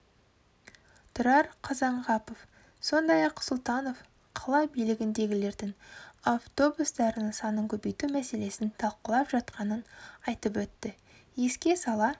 тұрар қазанғапов сондай-ақ сұлтанов қала билігіндегілердің автобустарының санын көбейту мәселесін талқылап жатқанын айтып өтті еске сала